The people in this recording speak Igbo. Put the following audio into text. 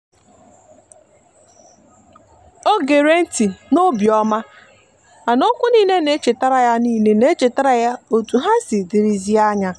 o gere nti n'obiomamana okwu nile na echetara nile na echetara ya otu ha siri dirizie anya.